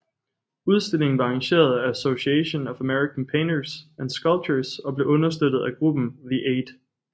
Udstillingen var arrangeret af Association of American Painters and Sculptors og blev understøttet af gruppen The Eight